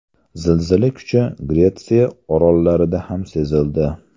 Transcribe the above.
Zilzila kuchi Gretsiya orollarida ham sezildi.